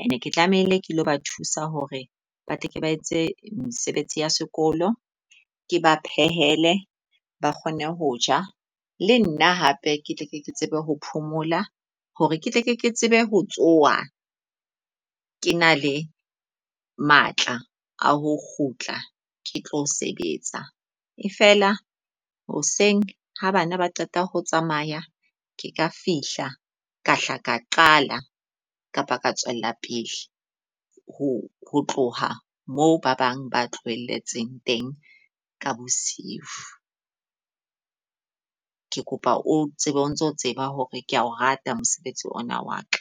and ke tlamehile ke lo ba thusa hore ba tle ke ba etse mesebetsi ya sekolo, ke ba phehele ba kgone ho ja. Le nna hape ke tle ke tsebe ho phomola hore ketle ke tsebe ho tsoha, ke na le matla a ho kgutla ke tlo sebetsa. E feela hoseng ha bana ba qeta ho tsamaya ke ka fihla ka hla ka qala kapa ka tswela pele ho ho tloha moo ba bang ba tlohelletseng teng ka bosiu. Ke kopa o tsebe o ntso tseba hore kea o rata mosebetsi ona wa ka.